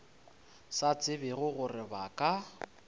sa tsebe gore ba ka